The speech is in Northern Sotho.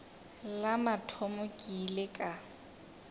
la mathomo ke ile ka